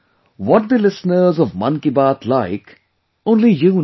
what the listeners of 'Mann Ki Baat' like, only you know better